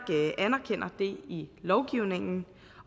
anerkender det i lovgivningen